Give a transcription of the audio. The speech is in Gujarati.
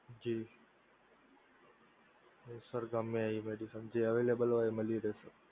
જી sir ગમે તે medicine હોય જે available હોય એ મળી રહે sir